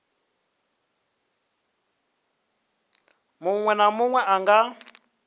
munwe na munwe a nga